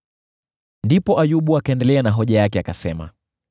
Ndipo Ayubu akaendelea na hoja yake, akasema: